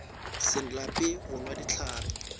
se lape go nwa dihlare